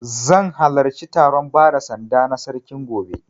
Zan halarci taron bada sanda na Sarkin gobe.